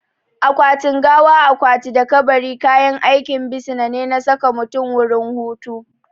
Akwatin gawa, akwati da kabari kayan aikin bisina ne na saka mutum wurin hutu